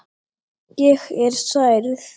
Ég er særð.